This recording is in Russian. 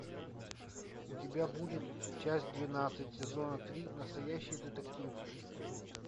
у тебя будет часть двенадцать сезона три настоящий детектив